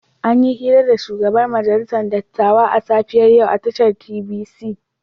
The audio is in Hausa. An yi hira da shugaban majalisar dattawa a safiyar yau a tashar TVC.